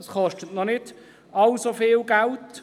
Das kostet noch nicht allzu viel Geld.